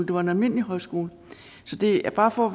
var en almindelig højskole det er bare for